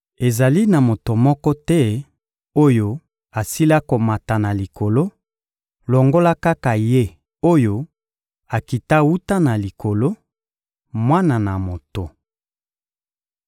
Ezali na moto moko te oyo asila komata na Likolo, longola kaka Ye oyo akita wuta na Likolo: Mwana na Moto.